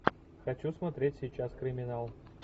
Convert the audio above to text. хочу смотреть сейчас криминал